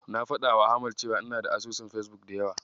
Na faɗawa Ahmad cewa ina da asusun Fesbuk da yawa.